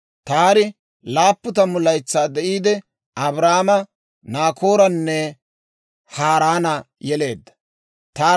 Taari 70 laytsaa de'iide, Abraama, Naakooranne Haaraana yeleedda.